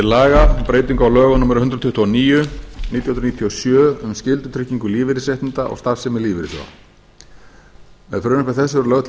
laga um breyting á lögum númer hundrað tuttugu og níu nítján hundruð níutíu og sjö um skyldutryggingu lífeyrisréttinda og starfsemi lífeyrissjóða með frumvarpi þessu er lögð